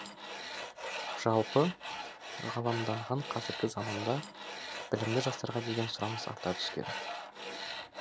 жалпы ғаламданған қазіргі заманда білімді жастарға деген сұраныс арта түскен